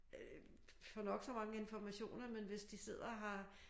Øh få nok så mange informationer men hvis de sidder og har